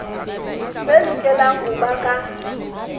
tse lokelang ho ba ka